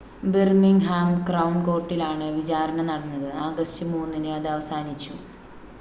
Birmingham crown കോർട്ടിലാണ് വിചാരണ നടന്നത് ആഗസ്റ്റ് 3 ന് അത് അവസാനിച്ചു